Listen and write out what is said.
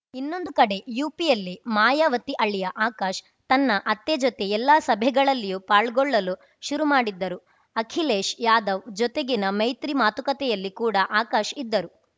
ಇನ್ನೊಂದು ಕಡೆ ಯುಪಿಯಲ್ಲಿ ಮಾಯಾವತಿ ಅಳಿಯ ಆಕಾಶ್‌ ತನ್ನ ಅತ್ತೆ ಜೊತೆ ಎಲ್ಲ ಸಭೆಗಳಲ್ಲಿಯೂ ಪಾಲ್ಗೊಳ್ಳಲು ಶುರು ಮಾಡಿದ್ದರು ಅಖಿಲೇಶ್‌ ಯಾದವ್‌ ಜೊತೆಗಿನ ಮೈತ್ರಿ ಮಾತುಕತೆಯಲ್ಲಿ ಕೂಡ ಆಕಾಶ್‌ ಇದ್ದರು